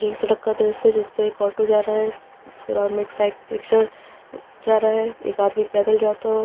यह एक सड़क का दृश्य है जिस पे एक ऑटो जा रहा है उसके इलावा एक साईक रिक्शा जा रहा है एक आदमी पैदल जाता हुआ--